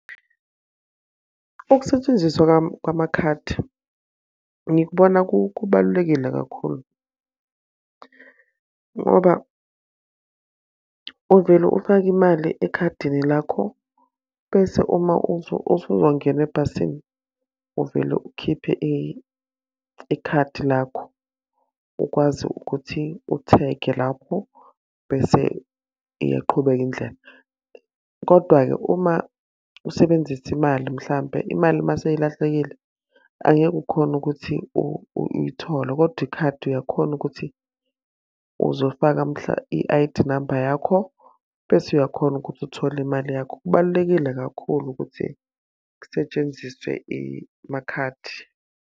Ukusetshenziswa kwamakhadi, ngikubona kubalulekile kakhulu. Ngoba uvele ufake imali ekhadini lakho bese uma usuzongena ebhasini, uvele ukhiphe ikhadi lakho ukwazi ukuthi uthege lapho bese iyaqhubeka indlela. Kodwa-ke uma usebenzisa imali mhlampe, imali uma seyilahlekile, angeke ukhone ukuthi uyithole. Kodwa ikhadi uyakhona ukuthi uzofaka i-I_D number yakho, bese uyakhona ukuthi uthole imali yakho. Kubalulekile kakhulu ukuthi kusetshenziswe makhadi.